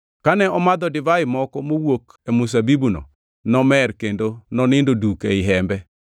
Kane omadho divai moko mowuok e mzabibuno, nomer kendo nonindo duk ei hembe.